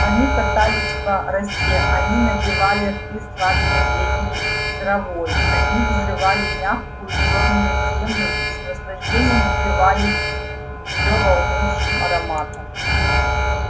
они катались по росе они набивали рты сладкой летней травой они взрывали мягкую чёрную землю и с наслаждением упивались её волнующим ароматом